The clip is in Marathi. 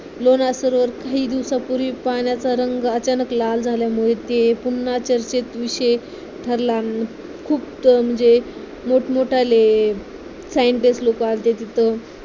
लोणार सरोवर काही दिवसांपूवी पाण्याचा रंग अचानक लाल झाल्यामुळे ते पुन्हा चर्चेचा विषय ठरला आहे खूप म्हणजे मोठमोठे scientist लोक आलेले तिथं